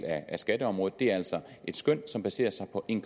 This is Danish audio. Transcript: af skatteområdet er altså et skøn som baserer sig på en